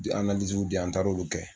di yan an taar'olu kɛ